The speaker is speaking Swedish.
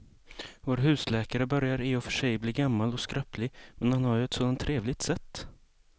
Vår husläkare börjar i och för sig bli gammal och skröplig, men han har ju ett sådant trevligt sätt!